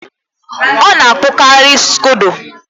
Ọ na-akpụkari scodo